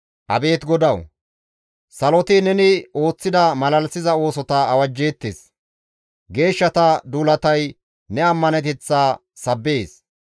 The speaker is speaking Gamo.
Abeet GODAWU! Saloti neni ooththida malalisiza oosota awajjeettes; geeshshata duulatay ne ammaneteththaa sabbees.